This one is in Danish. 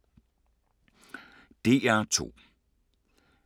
DR2